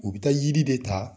U bɛ taa yiri de ta,